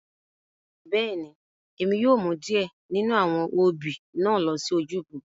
Bẹ́ẹ̀ni, Emi yóò mu diẹ ninu awọn obí na lo si ojúbọ.